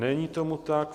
Není tomu tak.